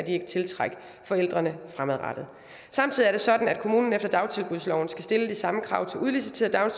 ikke tiltrække forældrene fremadrettet samtidig er det sådan at kommunen efter dagtilbudsloven skal stille de samme krav til udliciterede